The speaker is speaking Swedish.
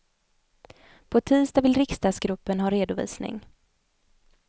På tisdag vill riksdagsgruppen ha redovisning.